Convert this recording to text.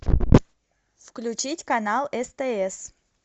включить канал стс